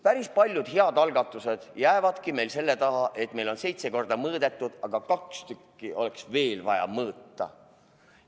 Päris paljud head algatused jäävadki meil selle taha, et meil on seitse korda mõõdetud, aga kaks korda oleks justkui veel vaja mõõta.